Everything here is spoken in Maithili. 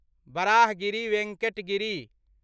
वराहगिरी वेङ्कट गिरि